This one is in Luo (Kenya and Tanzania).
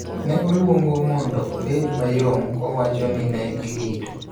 ne oluongo mondo obed mayom kowacho ni ne girito